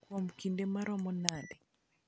kuom kinde maromo nade?